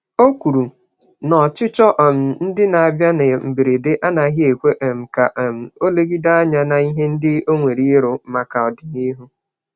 O kwùrù na ọchịchọ um ndị n'abia na mberede, anaghị ekwe um ka um olegide ányá n'ihe ndị onwere ịrụ, màkà ọdịnihu